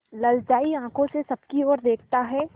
ललचाई आँखों से सबकी और देखता है